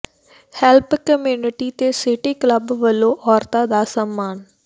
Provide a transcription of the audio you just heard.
help community ਤੇ city club ਵੱਲੋਂ ਔਰਤਾਂ ਦਾ ਸਨਮਾਨ